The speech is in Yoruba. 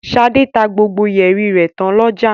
Ṣadé tá gbogbo yẹ̀rì rẹ̀ tán lọ́jà.